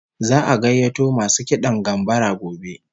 Za'a gayyato masu kidan gambara gobe